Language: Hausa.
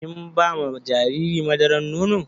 Kin ba ma jariri madaran nono?